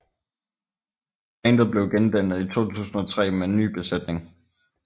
Bandet blev gendannet i 2003 med en ny besætning